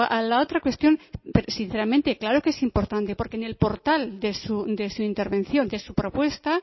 a la otra cuestión sinceramente claro que es importante porque en el portal de su intervención de su propuesta